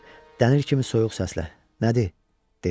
Dəmir kimi soyuq səslə: Nədir? dedi.